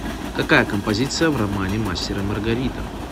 какая композиция в романе мастер и маргарита